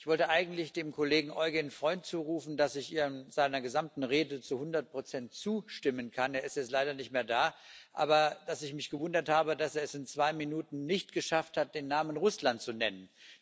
Ich wollte eigentlich dem Kollegen Eugen Freund zurufen, dass ich seiner gesamten Rede zu hundert Prozent zustimmen kann er ist jetzt leider nicht mehr da aber dass ich mich gewundert habe, dass er es in zwei Minuten nicht geschafft hat, den Namen Russland zu nennen.